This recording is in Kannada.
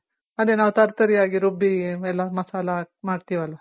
ಅದೆ ನಾವ್ ತರ್ ತರಿಯಾಗಿ ರುಬ್ಬಿ ಎಲ್ಲ ಮಸಾಲ ಹಾಕ್ ಮಾಡ್ತಿವಲ್ಲ